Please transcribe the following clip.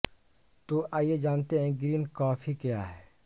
तो आइए जानते हैं ग्रीन कॉफ़ी क्या हैं